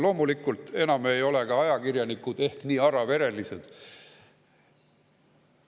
Loomulikult, enam ei ole ka ajakirjanikud ehk nii araverelised.